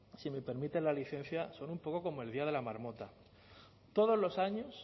si me permiten la licencia son un poco como el día de la marmota todos los años